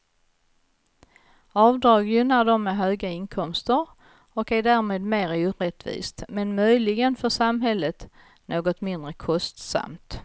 Avdrag gynnar dem med höga inkomster, och är därmed mer orättvist, men möjligen för samhället något mindre kostsamt.